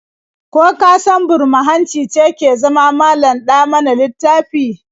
Ko ka san burma-hanci ce ke zama malam-ɗa-mana-littafi?